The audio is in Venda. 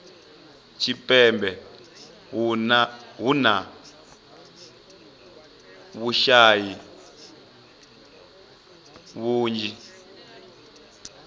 tshipembe hu na vhushayi vhunzhi